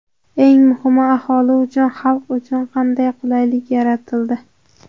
Eng muhimi, aholi uchun, xalq uchun qanday qulaylik yaratildi?